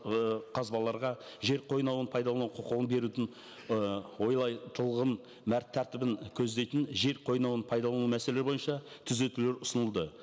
ы қазбаларға жер қойнауын пайдалану құқығын берудің ы тәртібін көздейтін жер қойнауын пайдалану мәселе бойынша түзетулер ұсынылды